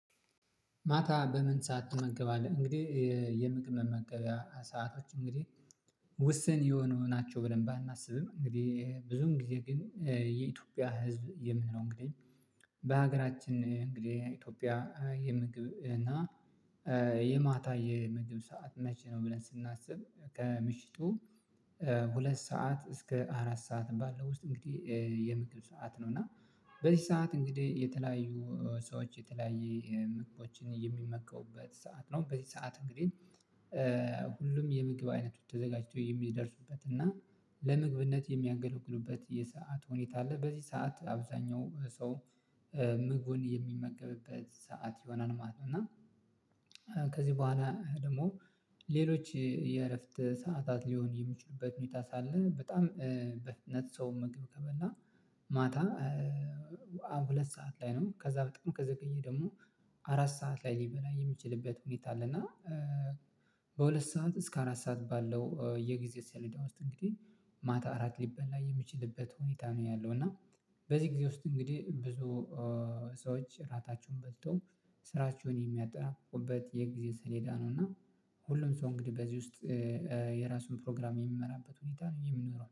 ማታ በምን ሰዓት ትመገባለህ? እንግዲህ የምግብ መገቢያ ሰዓታቶች እንግዲህ ውስን የሆነው ናቸው። ብለን ባናስብም እንግዲህ ብዙም ጊዜ ግን የኢትዮጵያ ህዝብ የምንለው እንግዲህ በሀገራችን እንግዲህ ኢትዮጵያ የምግብ እና የማታ የምግብ ሰዓት መቼ ነው ብለን ስናስብ ከምሽቱ ሁለት ሰዓት እስከ አራት ሰዓት ባለው ውስጥ እንግዲህ የምግብ ሰዓት ነው። እና በዚህ ሰዓት እንግዲህ የተለያዩ ሰዎች የተለያየ ምግቦችን የሚመከውበት ሰዓት ነው በዚህ ሰዓት እንግዲህ ሁሉም የምግብ አይነት ተዘጋጅቶ የሚደርሱበት እና ለምግብነት የሚያገለግሉበት የሰዓት ሁኔታ አለ። በዚህ ሰዓት አብዛኛው ሰው ምግቡን የሚመገብበት ሰዓት የሆነን ማለት ነው። እና ከዚህ በኋላ ደግሞ ሌሎች የእረፍት ሰዓታት ሊሆን የሚችሉበት ሁኔታ ሳለ በጣም በነጥብ ሰው ምግብ ከመላ ማታ ሁለት ሰዓት ላይ ነው ከዛ በጣም ከዘገየ ደግሞ አራት ሰዓት ላይ ሊበላ የሚችልበት ሁኔታ አለ። እና በሁለት ሰዓት እስከ አራት ሰዓት ባለው የጊዜ ሰሌዳ ውስጥ እንግዲህ ማታ አራት ሊበላ የሚችልበት ሁኔታ ነው ያለው። እና በዚህ ጊዜ ውስጥ እንግዲህ ብዙ ሰዎች እራታቸውን በልተው ስራቸውን የሚያጠናቁበት የጊዜ ስሌዳ ነው። እና ሁሉም ሰው እንግዲህ በዚህ ውስጥ የራሱን ፕሮግራም የሚመራበት ሁኔታ ነው የሚኖረው